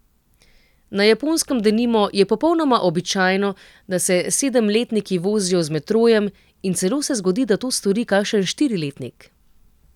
Na Japonskem, denimo, je popolnoma običajno, da se sedemletniki vozijo z metrojem, in celo se zgodi, da to stori kakšen štiriletnik.